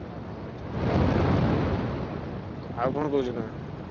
ଅହ! ଠିକ୍ ଅଛି। ଆଉ ଆଉ କଣ କହୁଛ ତମେ?